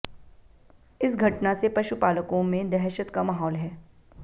इस घटना से पशुपालकों में दहशत का माहौल है